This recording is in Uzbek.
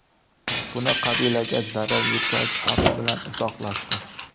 Buni qabilaga zarar yetkazish xavfi bilan izohlashdi.